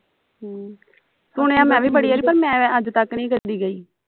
ਹਮ ਸੁਣਿਆ ਮੈਂ ਵੀ ਬੜੀ ਵਾਰੀ ਪਰ ਮੈਂ ਅੱਜ ਤੱਕ ਨਹੀਂ ਕੱਲੀ ਗਈ